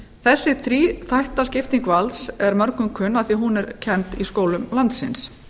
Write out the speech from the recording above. þessi þríþætta skipting valds er mörgum kunn af því að hún er kennd í skólum landsins